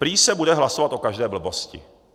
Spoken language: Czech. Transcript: Prý se bude hlasovat o každé blbosti.